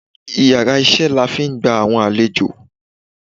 íyarà iṣẹ la n fi gba awọn alèjọ